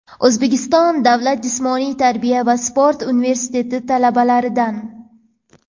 O‘zbekiston davlat jismoniy tarbiya va sport universiteti talabalaridan.